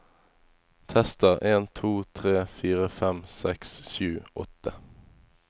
Tester en to tre fire fem seks sju åtte